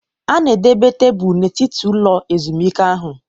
A na-edobe tebụl n'etiti ụlọ ezumike ahụ